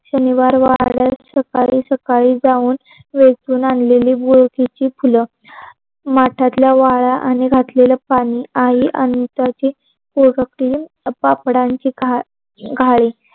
शनिवार वाड सकाळी सकाळी जाऊन वेचून आलेली बोलशीचे फूल. माठातल्या वाला आणि घातलेल पानी आणि त्याची पोर तीन पापडांची घा घाडी